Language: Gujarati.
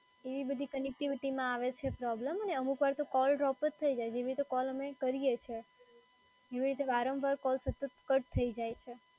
એવી બધી connectivity માં આવે છે પ્રોબ્લેમ અને અમુકવાર તો કૉલ ડ્રોપ જ થઈ જાય છે, જેવી રીતે કૉલ અમે કરીએ છે, એવી રીતે વારંવાર કૉલ સતત કટ થઈ જાય છે.